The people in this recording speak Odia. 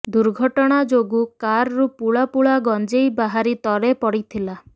ଦୁର୍ଘଟଣା ଯୋଗୁ କାର୍ରୁ ପୁଳା ପୁଳା ଗଞ୍ଜେଇ ବାହାରି ତଳେ ପଡ଼ିଥିଲା